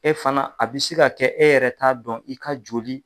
E fana a bɛ se ka kɛ e yɛrɛ t'a dɔn i ka joli.